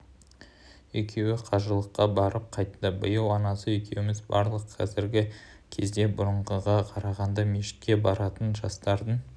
екеуі қажылыққа барып қайтты биыл анасы екеуміз бардық қазіргі кезде бұрынғыға қарағанда мешітке баратын жастардың